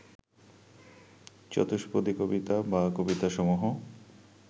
চতুষ্পদী কবিতা বা কবিতাসমূহ